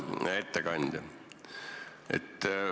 Hea ettekandja!